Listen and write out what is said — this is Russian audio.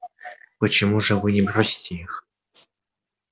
почему же вы не бросите их